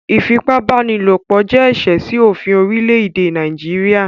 Ífipabanilopo jẹ̀ ẹṣẹ̀ sí ofín orílẹ̀èdè Nàìjíríà